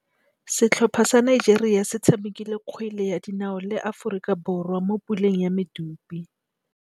Setlhopha sa Nigeria se tshamekile kgwele ya dinaô le Aforika Borwa mo puleng ya medupe.